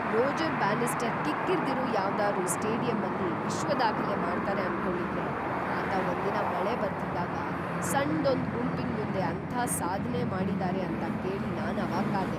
Roger Bannister ಕಿಕ್ಕಿರ್ದಿರೋ ಯಾವ್ದಾದ್ರೂ ಸ್ಟೇಡಿಯಮ್ಮಲ್ಲಿ ವಿಶ್ವದಾಖಲೆ ಮಾಡ್ತಾರೆ ಅನ್ಕೊಂಡಿದ್ರೆ ಆತ ಒಂದಿನ ಮಳೆ ಬರ್ತಿದ್ದಾಗ ಸಣ್ದೊಂದ್‌ ಗುಂಪಿನ್‌ ಮುಂದೆ ಅಂಥ ಸಾಧ್ನೆ ಮಾಡಿದಾರೆ ಅಂತ ಕೇಳಿ ನಾನ್‌ ಅವಾಕ್ಕಾದೆ.